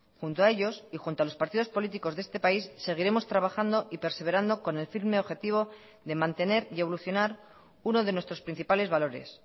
junto a ellos y junto a los partidos políticos de este país seguiremos trabajando y perseverando con el firme objetivo de mantener y evolucionar uno de nuestros principales valores